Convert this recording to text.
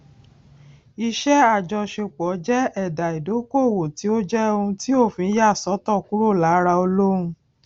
iṣé àjọṣepò jé èdà ìdókòwò tí ó jẹ òun tí òfin yà sótò kúrò lára olóun